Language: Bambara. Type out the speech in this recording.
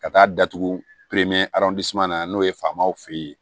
Ka taa datugu na n'o ye faamaw fe ye